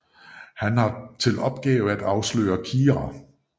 Han har til opgave at afsløre Kira